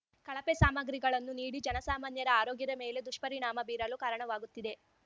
ಕಳಪೆ ಸಾಮಗ್ರಿಗಳನ್ನು ನೀಡಿ ಜನಸಾಮಾನ್ಯರ ಆರೋಗ್ಯದ ಮೇಲೆ ದುಷ್ಪರಿಣಾಮ ಬೀರಲು ಕಾರಣವಾಗುತ್ತಿದೆ